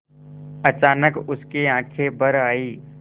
अचानक उसकी आँखें भर आईं